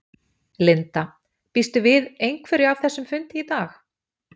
Linda: Býstu við einhverju af þessum fundi í dag?